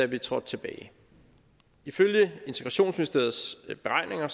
vi trådte tilbage ifølge integrationsministeriets beregninger